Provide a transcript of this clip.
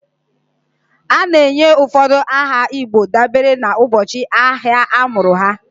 A na-enye ụfọdụ aha igbo dabere n'ụbọchị ahịa a mụrụ ha.